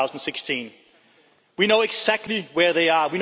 2016. We know exactly where they are